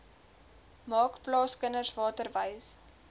maak plaaskinders waterwys